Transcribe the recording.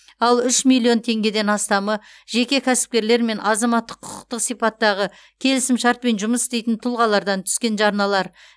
ал үш миллион теңгеден астамы жеке кәсіпкерлер мен азаматтық құқықтық сипаттағы келісімшартпен жұмыс істейтін тұлғалардан түскен жарналар